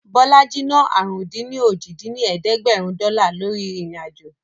Bọlájí ná àrún-dín-ní-ojì dín ní ẹ̀ẹ́dẹ́gbẹ́rún dọ́là lórí ìrìn-àjò